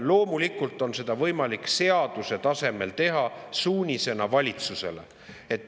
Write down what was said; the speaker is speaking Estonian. Loomulikult on seda võimalik seaduse tasemel teha suunisena valitsusele.